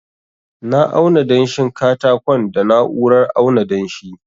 na auna danshin katakon da na'urar auna danshi